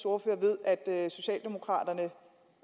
ordfører ved at socialdemokraterne